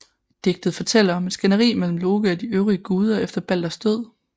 Digtet fortæller om et skænderi mellem Loke og de øvrige guder efter Balders død